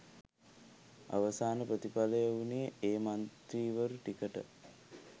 අවසාන ප්‍රතිපලය වුනේ ඒ මන්ත්‍රීවරු ටිකට